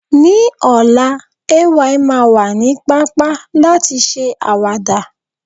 ní ọlá, Ay ma wa ni papa lati ṣe awada